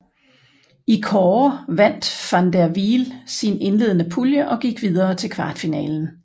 I kårde vandt van der Wiel sin indledende pulje og gik videre til kvartfinalen